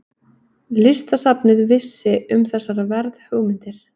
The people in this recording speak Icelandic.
Listasafnið vissi um þessar verðhugmyndir.